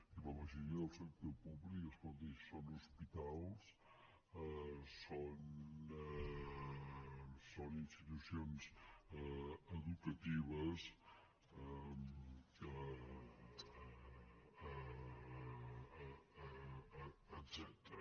i la majoria del sector públic escolti són hospitals són institucions educatives etcètera